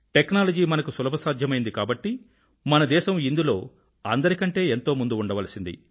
technology మనకు సులభ సాధ్యమైనది కాబట్టి మన దేశం ఇందులో అందరికంటే ఎంతో ముందు ఉండవలసింది